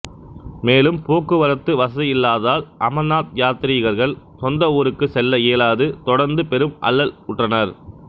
மேலும் போக்குவரத்து வசதியில்லாததால் அமர்நாத் யாத்திரீகர்கள் சொந்த ஊருக்கு செல்ல இயலாது தொடர்ந்து பெரும் அல்லல் உற்றனர்